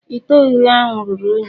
Ite Oghihe ahu ruru unyi.